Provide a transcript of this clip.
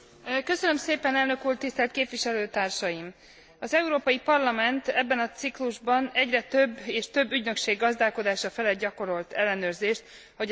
Az Európai Parlament ebben a ciklusban egyre több és több ügynökség gazdálkodása felett gyakorolt ellenőrzést ahogy ezt Fjellner képviselőtársam is elmondta.